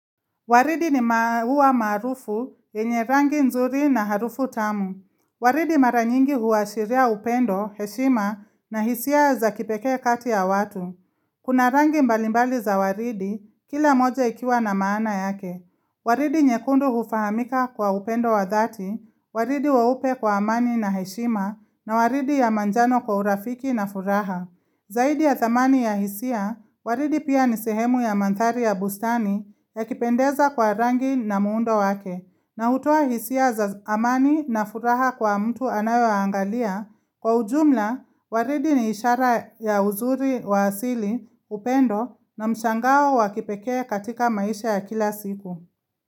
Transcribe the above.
Waridi ni maua maarufu, yenye rangi nzuri na harufu tamu. Waridi mara nyingi huashiria upendo, heshima na hisia za kipekee kati ya watu. Kuna rangi mbalimbali za waridi, kila moja ikiwa na maana yake. Waridi nyekundu hufahamika kwa upendo wa dhati, waridi weupe kwa amani na heshima na waridi ya manjano kwa urafiki na furaha. Zaidi ya thamani ya hisia, waridi pia ni sehemu ya manthari ya bustani ya kipendeza kwa rangi na muundo wake na hutoa hisia za amani na furaha kwa mtu anayo angalia kwa ujumla waridi ni ishara ya uzuri wa asili upendo na mshangao wa kipekee katika maisha ya kila siku.